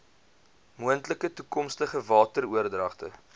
moontlike toekomstige wateroordragte